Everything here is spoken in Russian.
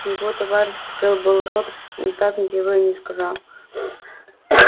его товарищ открыл было рот но так ничего и не сказал